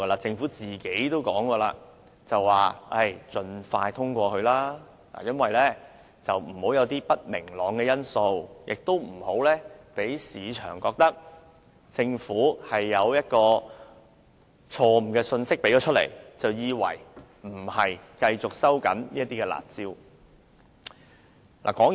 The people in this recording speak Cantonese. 政府本身亦曾表示，要盡快通過《2017年印花稅條例草案》，以免製造不明朗的因素，令市場誤會政府釋出不會繼續收緊"辣招"的信息。